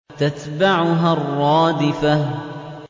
تَتْبَعُهَا الرَّادِفَةُ